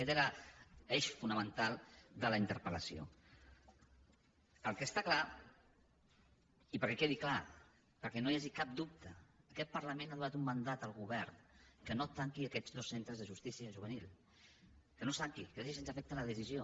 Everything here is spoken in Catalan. aquest era l’eix fonamental de la interpeli perquè quedi clar perquè no hi hagi cap dubte aquest parlament ha donat un mandat al govern que no tanqui aquests dos centres de justícia juvenil que no els tanqui que deixi sense efecte la decisió